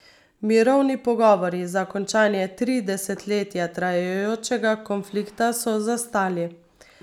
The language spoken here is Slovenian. Mirovni pogovori za končanje tri desetletja trajajočega konflikta so zastali.